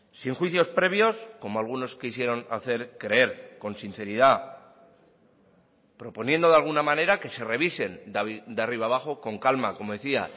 sin juicios previos como algunos quisieron hacer creer con sinceridad proponiendo de alguna manera que se revisen de arriba abajo con calma como decía